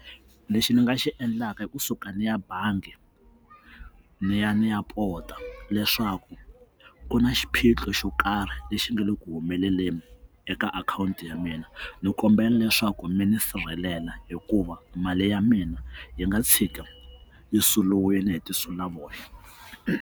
Lexi ndzi nga xi endlaka i kusuka ndzi ya bangi ni ya ndzi ya pota leswaku ku na xiphiqo xo karhi lexi nga le ku humeleleni eka akhawunti ya mina ndzi kombela leswaku mi ndzi sirhelela hikuva mali ya mina yi nga tshika yi suluwini hi tinsulavoya.